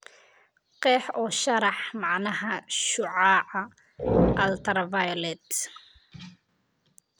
qeex oo sharax macnaha shucaaca ultraviolet